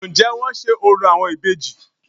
Ǹ jé wọ́n n se orò àwọn ìbejì